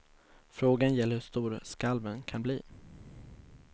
Frågan gäller hur stora skalven kan bli.